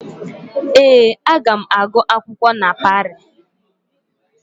Ee, aga m agu akwụkwọ na Parii.